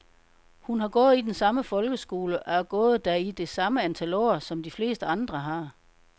Hun har gået i den samme folkeskole, og gået der i det samme antal år, som de fleste andre har.